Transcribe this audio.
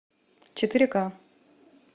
четыре ка